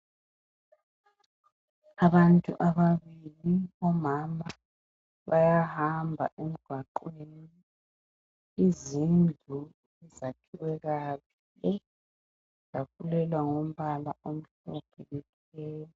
abantu ababili omama bayahamba emgwaqweni izindlu zakhiwe kahle zafulelwa ngombala omhlophe